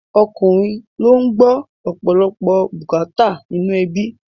Ọkùnrin ló ń gbọ́ ọ̀pọ̀lọpọ̀ bùkátà nínú ẹbí